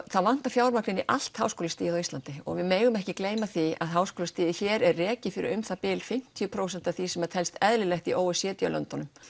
það vantar fjármagn í allt háskólastigið á Íslandi og við megum ekki gleyma því að háskólastigið hér er rekið fyrir um það bil fimmtíu prósent af því sem telst eðlilegt í o e c d löndunum